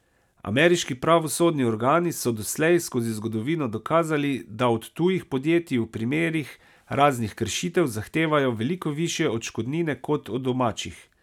Ameriški pravosodni organi so doslej skozi zgodovino dokazali, da od tujih podjetij v primerih raznih kršitev zahtevajo veliko višje odškodnine kot od domačih.